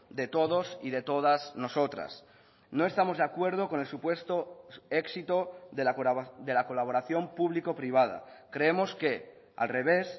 de todos y de todas nosotras no estamos de acuerdo con el supuesto éxito de la colaboración público privada creemos que al revés